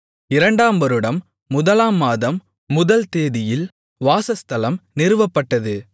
இரண்டாம் வருடம் முதலாம் மாதம் முதல் தேதியில் வாசஸ்தலம் நிறுவப்பட்டது